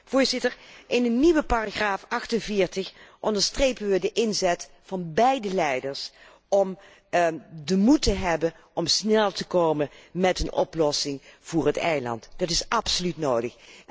Voorzitter, in een nieuwe paragraaf 48 onderstrepen wij de inzet van beide leiders om de moed te hebben om snel te komen met een oplossing voor het eiland, dat is absoluut nodig.